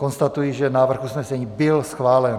Konstatuji, že návrh usnesení byl schválen.